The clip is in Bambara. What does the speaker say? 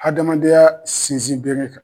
Hadamadenya sinsinbere ka